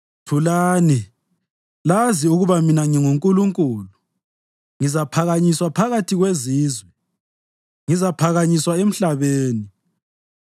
“Thulani, lazi ukuba mina nginguNkulunkulu; ngizaphakanyiswa phakathi kwezizwe; ngizaphakanyiswa emhlabeni.”